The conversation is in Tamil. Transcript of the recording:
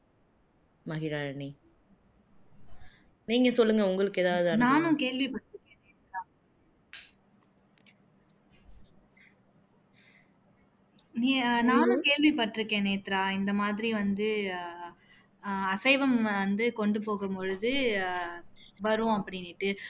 நீ நானும் கேள்விபட்டுருக்கேன் நேத்ரா இந்த மாதிரி வந்து அஹ் அசைவம் வந்து கொண்டு போகும் பொழுது வரும் அப்படின்னுட்டு